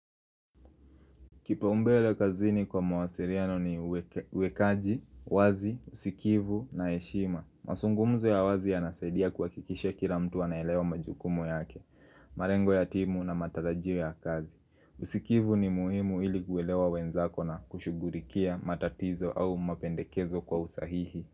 Kipau mbele kazini kwa mwasiriano ni we wekaji, wazi, usikivu na heshima. Masungumzo ya wazi yanasaidia kuhakikisha kila mtu anaelewa majukumu yake, marengo ya timu na matarajio ya kazi. Usikivu ni muhimu ili kuelewa wenzako na kushughurikia matatizo au mapendekezo kwa usahihi.